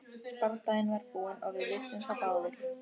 Bardaginn var búinn og við vissum það báðir.